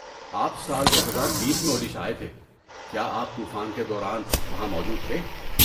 آپ سال دوہزار بیس میں اوڈیشہ آئے تھے، کیا آپ طوفان کے دوران وہاں موجود تھے؟